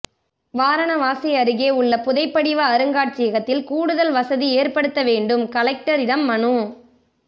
வாரணவாசி அருகே உள்ள புதைபடிவ அருங்காட்சியகத்தில் கூடுதல் வசதி ஏற்படுத்த வேண்டும் கலெக்டரிடம் மனு